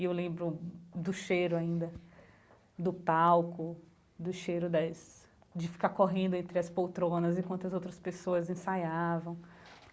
E eu lembro do cheiro ainda, do palco, do cheiro das de ficar correndo entre as poltronas enquanto as outras pessoas ensaiavam.